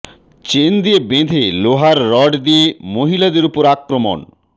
chain দিয়ে বেঁধে লোহার রড দিয়ে মহিলাদের উপরে আক্রমণ